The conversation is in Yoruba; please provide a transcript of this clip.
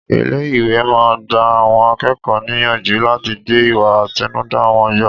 Ilé ìwé máa ń gba àwọn akẹ́kọ̀ọ́ níyànjú láti gbé ìwà àtinúdá wọn yọ.